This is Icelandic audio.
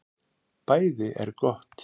BÆÐI ER GOTT